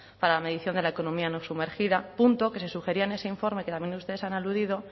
para la medición de la economía sumergida punto que se sugería en ese informe que también ustedes han aludido